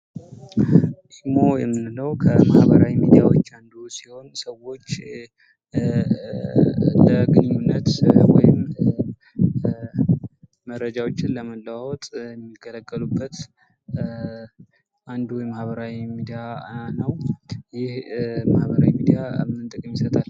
ኢሞ የምንለው ከማህበራዊ ሚዲያዎች አንዱ ሲሆን ሲሆን ሰዎች ለግንኙነት ፣መረጃዎችን ለመለዋወጥ የሚጠቀሙበት አንዱ የማህበራዊ ሚዲያ ነው። ይህ ማህበራዊ ሚዲያ ምን ጥቅም ይሰጣል?